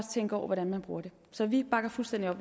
tænke over hvordan man bruger det så vi bakker fuldstændig